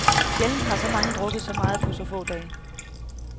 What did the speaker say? Sjældent har så mange drukket så meget på så få dage.